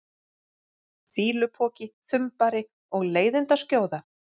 fýlupoki, þumbari og leiðindaskjóða?